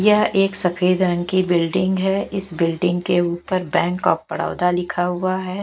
यह एक सफेद रंग की बिल्डिंग है इस बिल्डिंग के ऊपर बैंक ऑफ बड़ौदा लिखा हुआ है।